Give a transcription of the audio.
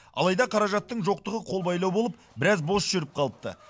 алайда қаражаттың жоқтығы қолбайлау болып біраз бос жүріп қалыпты